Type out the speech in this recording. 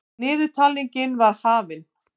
Niðurtalningin var hafin.